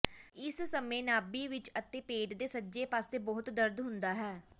ਇਸ ਸਮੇਂ ਨਾਭੀ ਵਿਚ ਅਤੇ ਪੇਟ ਦੇ ਸੱਜੇ ਪਾਸੇ ਬਹੁਤ ਦਰਦ ਹੁੰਦਾ ਹੈ